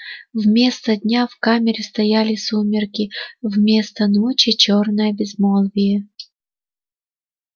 вместо дня в камере стояли сумерки вместо ночи чёрное безмолвие